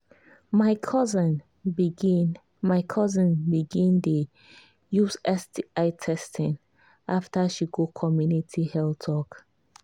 my cousin begin my cousin begin dey use sti testing after she go community health talk.